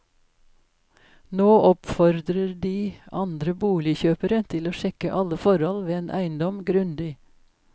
Nå oppfordrer de andre boligkjøpere til å sjekke alle forhold ved en eiendom grundig.